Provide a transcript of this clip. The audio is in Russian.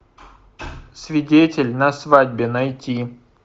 свидетель на свадьбе найти